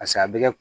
Paseke a bɛ kɛ